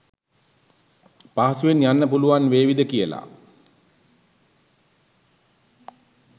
පහසුවෙන් යන්න පුළුවන් වේවිද කියල.